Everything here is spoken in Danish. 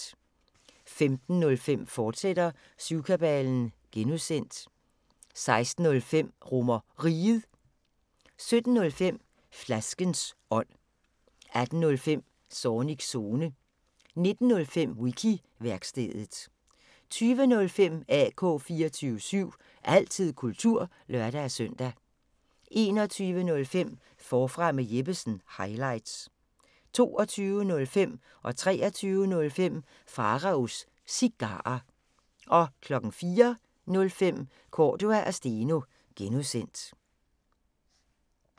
15:05: Syvkabalen (G), fortsat 16:05: RomerRiget 17:05: Flaskens ånd 18:05: Zornigs Zone 19:05: Wiki-værkstedet 20:05: AK 24syv – altid kultur (lør-søn) 21:05: Forfra med Jeppesen – highlights 22:05: Pharaos Cigarer 23:05: Pharaos Cigarer 04:05: Cordua & Steno (G)